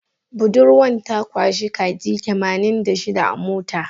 Budurwan ta kwashe kaji tamanin da shida a mota.